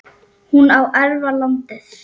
hún á að erfa landið.